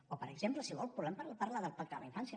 o per exemple si vol podem parlar del pacte de la infància